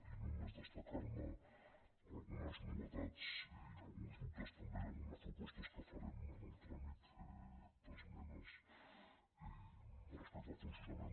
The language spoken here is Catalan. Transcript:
i només destacarne algunes novetats i alguns dubtes també i algunes propostes que farem en el tràmit d’esmenes respecte al funcionament